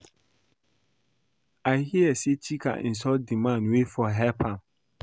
I hear say Chika insult the man wey for help am